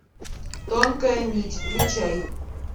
тонкая нить включай